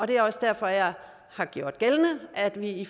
det er også derfor jeg har gjort gældende at vi i